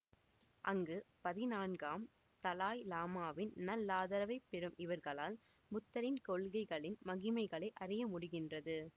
அங்கு பதினான்காம் தலாய் லாமாவின் நல்லாதரவைப் பெறும் இவர்களால் புத்தரின் கொள்கைகளின் மகிமைகளை அறிய முடிகின்றது